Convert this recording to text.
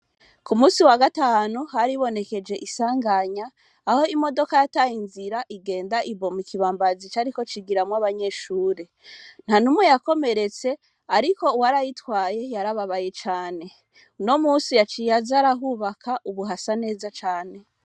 ku munsi wa gatanu haribonekeje insanganya aho imodoka yatangira agenda igwa mu kibambazi cariko cigiramwo abanyeshure, nta numwe yakomeretse ariko uwari ayitwaye yarababaye cane, uno munsi yaciye aza arahubaka ubu hasa neza cane.